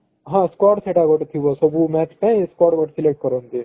ହଁ squad ସେଟା ଗୋଟେ ଥିବ ସବୁ match ପାଇଁ squad ଗୋଟେ select କରନ୍ତି